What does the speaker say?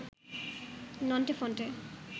Nonte Phonte